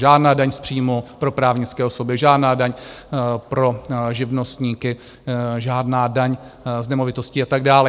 Žádná daň z příjmu pro právnické osoby, žádná daň pro živnostníky, žádná daň z nemovitostí a tak dále.